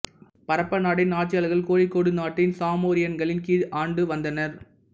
பரப்பநாட்டின் ஆட்சியாளர்கள் கோழிக்கோடு நாட்டின் சாமோரியன்களின் கீழ் ஆண்டு வந்தனர்